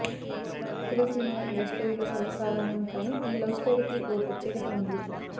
తెలుగు సినిమాలో లవ్ స్టోరీలు సర్వసాధారణం కానీ ఈ లవ్ స్టోరీ కి ఓ ప్రత్యేకత ఉంది